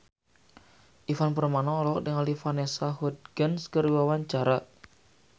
Ivan Permana olohok ningali Vanessa Hudgens keur diwawancara